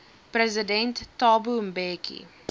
president thabo mbeki